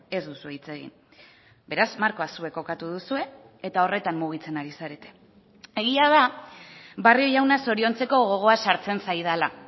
ez duzue hitz egin beraz markoa zuek kokatu duzue eta horretan mugitzen ari zarete egia da barrio jauna zoriontzeko gogoa sartzen zaidala